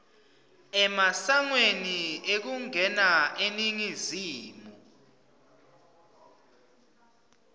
emasangweni ekungena eningizimu